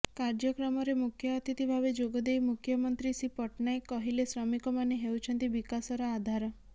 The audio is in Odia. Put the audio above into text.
କାର୍ଯ୍ୟକ୍ରମରେ ମୁଖ୍ୟଅତିଥି ଭାବେ ଯୋଗଦେଇ ମୁଖ୍ୟମନ୍ତ୍ରୀ ଶ୍ରୀ ପଟ୍ଟନାୟକ କହିଲେ ଶ୍ରମିକମାନେ ହେଉଛନ୍ତି ବିକାଶର ଆଧାର